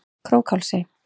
Krókhálsi